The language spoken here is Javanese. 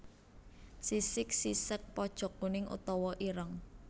Sisik sisék pojok kuning utawa ireng